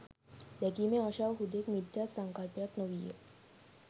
දැකීමේ ආශාව හුදෙක් මිත්‍යා සංකල්පයක් නො වීය